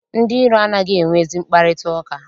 Ndị iro anaghị enwe ezi mkparịtaụka.